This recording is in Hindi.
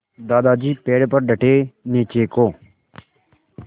दादाजी पेड़ पर डटे नीचे को